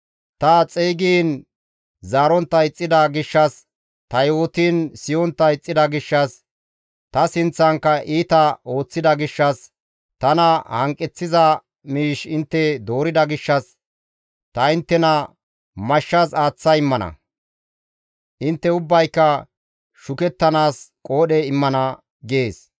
ta xeygiin zaarontta ixxida gishshas, ta yootiin siyontta ixxida gishshas, ta sinththankka iita ooththida gishshas, tana hanqeththiza miish intte doorida gishshas, ta inttena mashshas aaththa immana; intte ubbayka shukettanaas qoodhe immana» gees.